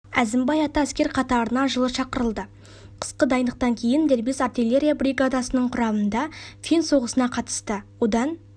әзімбай-ата әскер қатарына жылы шақырылды қысқа дайындықтан кейін дербес артиллерия бригадасының құрамында фин соғысына қатысты одан